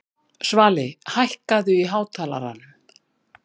Svali, hækkaðu í hátalaranum.